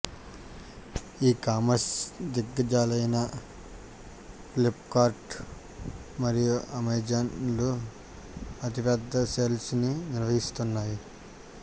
ఈ కామర్స్ దిగ్గజాలైన ఫ్లిప్కార్ట్ మరియు అమెజాన్ లు అతి పెద్ద సేల్స్ ని నిర్వహిస్తున్నాయి